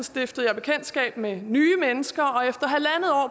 stiftede jeg bekendtskab med nye mennesker